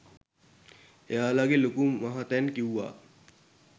එයාලගෙ ලොකු මහත්තැන් කිවුවා